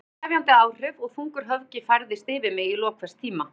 Orðin höfðu sefjandi áhrif og þungur höfgi færðist yfir mig í lok hvers tíma.